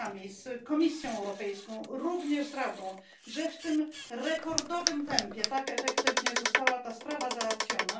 z Komisją Europejską, również z Radą, że w tym rekordowym tempie tak efektywnie została ta sprawa załatwiona.